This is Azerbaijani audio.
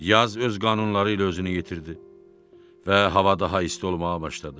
Yaz öz qanunları ilə özünü yetirdi və hava daha isti olmağa başladı.